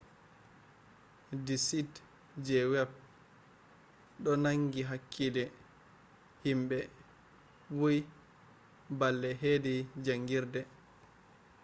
di site je web do nangi hakkile himɓe bui balle hedi jangirde